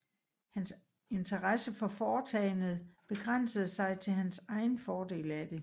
Hans interesse for foretagendet begrænsede sig til hans egen fordel af det